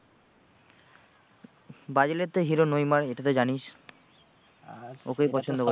Brazil এর তো hero Neymar এটা তো জানিস ওকেই পছন্দ।